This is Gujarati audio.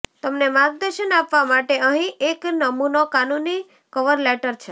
તમને માર્ગદર્શન આપવા માટે અહીં એક નમૂનો કાનૂની કવર લેટર છે